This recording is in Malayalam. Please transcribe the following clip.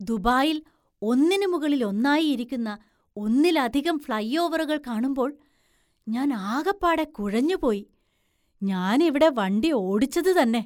ദുബായില്‍ ഒന്നിന് മുകളിൽ ഒന്നായി ഇരിക്കുന്ന ഒന്നിലധികം ഫ്‌ളൈ ഓവറുകൾ കാണുമ്പോൾ ഞാൻ ആകപ്പാടെ കുഴഞ്ഞു പോയി. ഞാനിവിടെ വണ്ടി ഓടിച്ചതുതന്നെ.